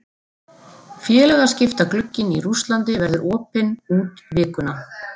Félagaskiptaglugginn í Rússlandi verður opinn út vikuna.